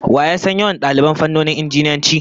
Wa ya san yawan daliban fannonin Injiniyanci?